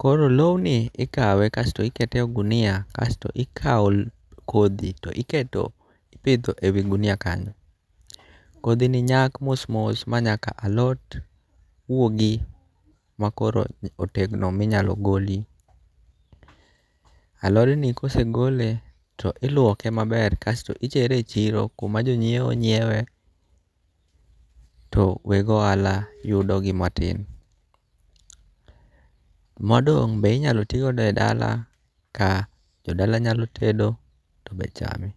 koro loni ikawe kasto ikete e ogunia kasto ikawo kothi to iketo ipitho e wi gunia kanyo, kothini nyak mos mos ma nyaka alot wuogi makoro otegno minyalo goli, alodni kosegole to iluoke maber kasto itere e chiro kuma ji nyiewe nyiewe to weg ohala yudogi matin, modong' be inyalo ti go e dala ka jodala nyalo tedo to be chame.